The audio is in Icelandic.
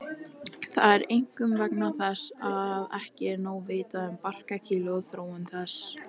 Er það einkum vegna þess að ekki er nóg vitað um barkakýlið og þróun þess.